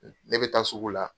Ne bɛ taa sugu la.